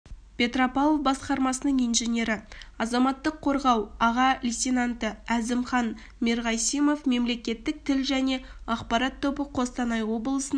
петропавл басқармасының инженері азаматтық қорғау аға дейтенанты әзімхан мерғасимов мемлекеттік тіл және ақпарат тобы қостанай облысының